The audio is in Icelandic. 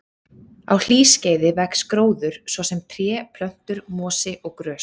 Á hlýskeiði vex gróður, svo sem tré, plöntur, mosi og grös.